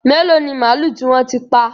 Mélòó ni màlúù tí wọ́n ti pa?